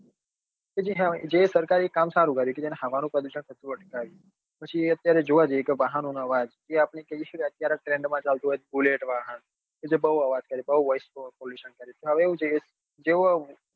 જે સરકારે કામ સારું કર્યું કે તેને હવા નું પ્રદુષણ થતું અટકાવ્યું પછી અત્યારે જોવા જઈએ તો વાહનનો અવાજ એ આપડી જોઈએ જ છીએ બઉ trend ચાલતું હોય તો bullet વાહન તે બઉ અવાજ કરે બઉ voice pollution કરે હવે એવું છે કે